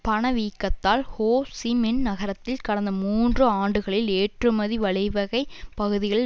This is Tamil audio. பணவீக்கத்தால் ஹோ சி மின் நகரத்தில் கடந்த மூன்று ஆண்டுகளில் ஏற்றுமதி வழிவகைப் பகுதிகளில்